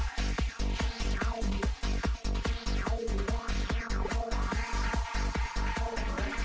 við